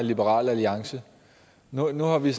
af liberal alliance nu nu har vi